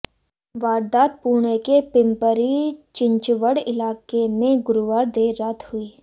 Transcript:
वारदात पुणे के पिम्परी चिंचवड़ इलाके में गुरुवार देर रात हुई